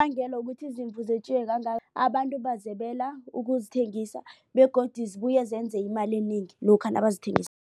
Ubangela wokuthi izimvu zetjiweko kangaka abantu bazebela ukuzithengisa begodu zibuye zenze imali enengi lokha